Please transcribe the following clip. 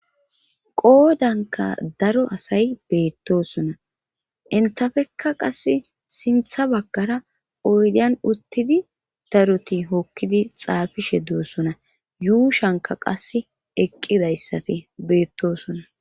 Qoodanka daro asay beettosona intafekka qas sintha baggara oydian uttidi daruti hokkidi xaafishe doossona yuushanka qas eqqidayssati beettosona.